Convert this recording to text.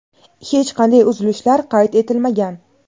hech qanday uzilishlar qayd etilmagan.